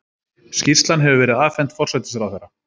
Skýrslan hefur verið afhent forsætisráðherra